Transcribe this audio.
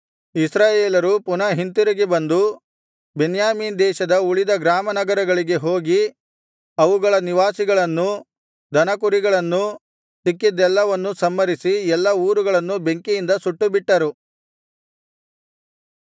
ಇಸ್ರಾಯೇಲರು ಪುನಃ ಹಿಂತಿರುಗಿ ಬಂದು ಬೆನ್ಯಾಮೀನ್ ದೇಶದ ಉಳಿದ ಗ್ರಾಮನಗರಗಳಿಗೆ ಹೋಗಿ ಅವುಗಳ ನಿವಾಸಿಗಳನ್ನೂ ದನಕುರಿಗಳನ್ನೂ ಸಿಕ್ಕಿದ್ದೆಲ್ಲವನ್ನು ಸಂಹರಿಸಿ ಎಲ್ಲಾ ಊರುಗಳನ್ನು ಬೆಂಕಿಯಿಂದ ಸುಟ್ಟುಬಿಟ್ಟರು